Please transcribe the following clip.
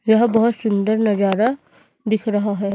यह बहुत सुंदर नजारा दिख रहा है।